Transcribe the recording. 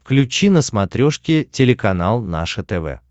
включи на смотрешке телеканал наше тв